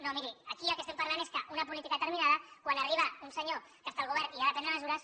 no miri aquí del que estem parlant és que una política determinada quan arriba un senyor que està al govern i ha de prendre mesures